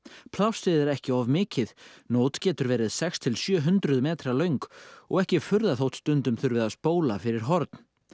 plássið er ekki of mikið nót getur verið sex til sjö hundruð metra löng og ekki furða þótt stundum þurfi að spóla fyrir horn